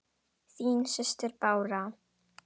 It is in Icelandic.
Þín systir, Bára.